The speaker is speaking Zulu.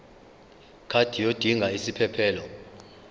card yodinga isiphephelok